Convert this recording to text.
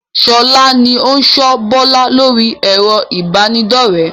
Sọlá ni ó n sọ Bọlá lórí ẹ̀rọ ibanidọ̀rẹ́